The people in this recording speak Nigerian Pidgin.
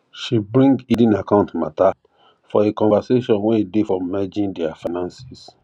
she bring hidden account matter for a conversation way day for merging their finances